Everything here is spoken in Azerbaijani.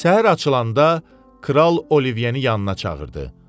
Səhər açılanda kral Olivyeni yanına çağırdı.